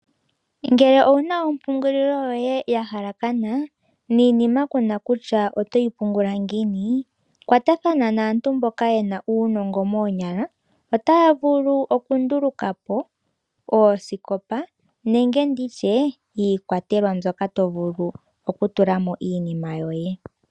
Ngele owuna ompungulilo yoye ya halakana niinima kuna kutya otoyi pungula ngiini, kwatathana naantu mboka ye na uunongo moonyala otaya vulu oku nduluka po oosikopa nenge nditye iikwatelwa mboka to vulu okutula mo iinima yoye.